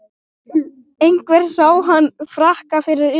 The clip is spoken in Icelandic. Einhver sá hann í frakka fyrir utan